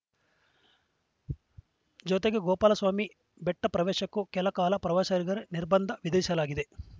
ಜತೆಗೆ ಗೋಪಾಲಸ್ವಾಮಿ ಬೆಟ್ಟಪ್ರವೇಶಕ್ಕೂ ಕೆಲಕಾಲ ಪ್ರವಾಸಿಗರಿಗೆ ನಿರ್ಬಂಧ ವಿಧಿಸಲಾಗಿದೆ